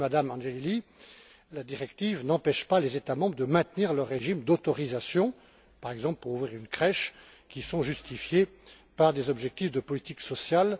Ainsi, Mme Angelilli, la directive n'empêche pas les États membres de maintenir leurs régimes d'autorisation par exemple pour ouvrir une crèche qui sont justifiés par des objectifs de politique sociale.